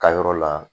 Ka yɔrɔ la